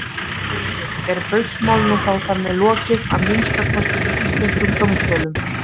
Haukur: Er Baugsmálinu þá þar með lokið, að minnsta kosti fyrir íslenskum dómstólum?